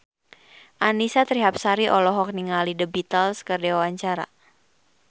Annisa Trihapsari olohok ningali The Beatles keur diwawancara